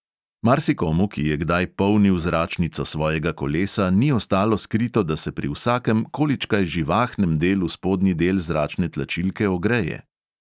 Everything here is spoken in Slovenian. Marsikomu, ki je kdaj polnil zračnico svojega kolesa, ni ostalo skrito, da se pri vsakem količkaj živahnem delu spodnji del zračne tlačilke ogreje.